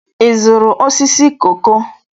Ị zụrụ osisi koko?